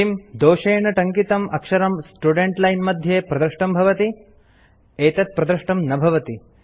किम् दोषेण टङ्कितम् आक्षरं स्टुडेंट लाइन मध्ये प्रदृष्टं भवति एतत् प्रदृष्टं न भवति